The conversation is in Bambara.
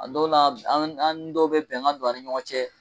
A dɔ la an ni dɔw bɛ bɛnkan don an ni ɲɔgɔn cɛ.